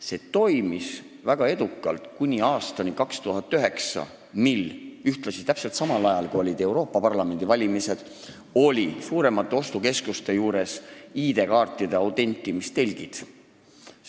See toimis väga edukalt kuni aastani 2009, mil – ühtlasi täpselt samal ajal, kui olid Euroopa Parlamendi valimised – olid suuremate ostukeskuste juures ID-kaartide autentimise telgid.